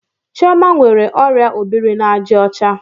Chioma nwere orịa obiri-na-aja ocha?